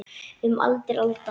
Um aldir alda.